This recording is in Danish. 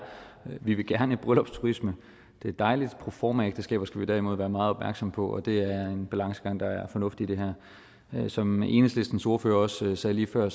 vi vil gerne bryllupsturisme det er dejligt proformaægteskaber skal vi derimod være meget opmærksomme på og det er en balancegang der er fornuftig i det her som enhedslistens ordfører også sagde lige før